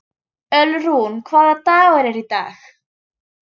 Ölrún, hvaða dagur er í dag?